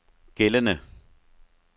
gældende